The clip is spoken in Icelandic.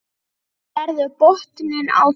Sérðu botninn á þeim.